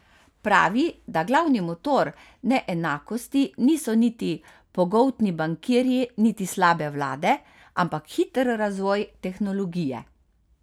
Pravi, da glavni motor neenakosti niso niti pogoltni bankirji niti slabe vlade, ampak hiter razvoj tehnologije.